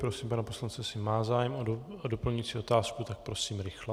Prosím pana poslance, jestli má zájem o doplňující otázku, tak prosím rychle.